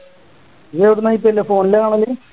ഇയ്യ്‌ എവിടുന്നാ IPLphone ലാ കാണല്